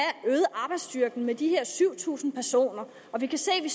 arbejdsstyrken med de her syv tusind personer og vi kan se at vi